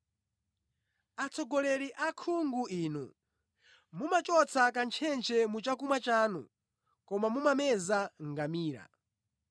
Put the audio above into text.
Atsogoleri akhungu inu! Mumachotsa kantchentche mu chakumwa chanu koma mumameza ngamira.